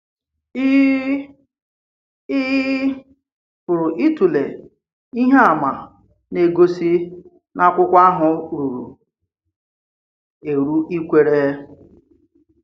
Ị̀ Ị̀ pụrụ ị̀tụ̀lè ihe àmà na-egosi na ákwùkwò àhụ̀ rùrù èru ị̀kwè̀rè.